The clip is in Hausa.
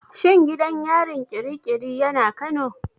Shin gidan yarin ƙiri ƙiri yana Kano?